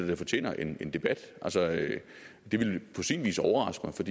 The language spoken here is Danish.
det fortjener en debat det ville på sin vis overraske mig for